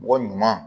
Mɔgɔ ɲuman